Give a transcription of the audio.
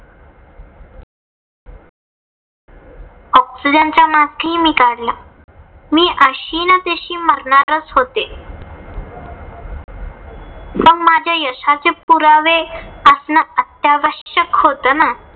Oxygen चा mask हि मी काढला. मी अशी ना तशी मरणारच होते. पण माझ्या यशाचे पुरावे असण अत्यावश्यक होतं ना.